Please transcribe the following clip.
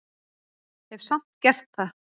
Hef samt gert það.